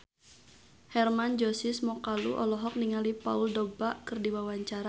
Hermann Josis Mokalu olohok ningali Paul Dogba keur diwawancara